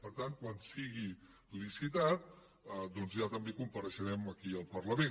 per tant quan sigui licitat doncs ja també compareixerem aquí al parlament